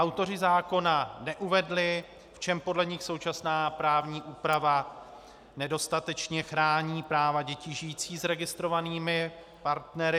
Autoři zákona neuvedli, v čem podle nich současná právní úprava nedostatečně chrání práva dětí žijící s registrovanými partnery.